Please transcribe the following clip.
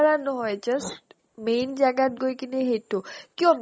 বাঢ়া নহয় just main জাগাত গৈ কিনে সেইটো কিয়